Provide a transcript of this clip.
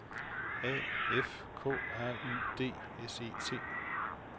A F K R Y D S E T